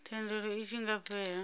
thendelo i tshi nga fhela